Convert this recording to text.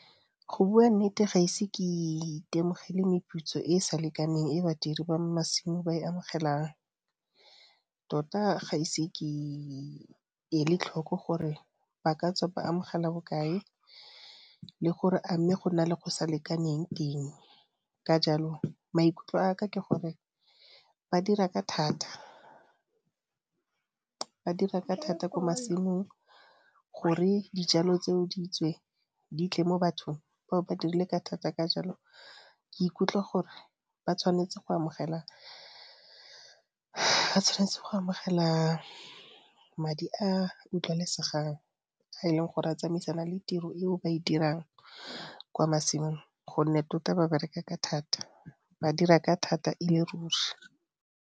Go bua nnete ga ise ke itemogele meputso e e sa lekaneng e badiri ba masimo ba e amogelang, tota ga ise ke ele tlhoko gore ba ka tswa ba amogela bokae le gore a mme go na le go sa lekaneng teng. Ka jalo maikutlo a ka ke gore ba dira ka thata. Ba dira ka thata kwa masimong, gore dijalo tseo di tswe di tle mo bathong, ba bo ba dirile ka thata ka jalo ke ikutlwa gore ba tshwanetse go amogela, ba tshwanetse go amogela madi a utlwalesegang a e leng gore a tsamaisana le tiro e o ba e dirang kwa masimong, gonne tota ba bereka ka thata, ba dira ka thata e le ruri.